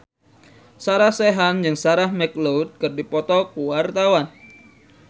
Sarah Sechan jeung Sarah McLeod keur dipoto ku wartawan